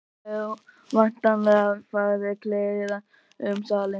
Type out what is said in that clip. Og það hefur væntanlega farið kliður um salinn.